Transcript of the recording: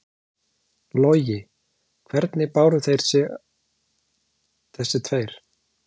Logi: Hvernig báru þeir sig, þeir tveir?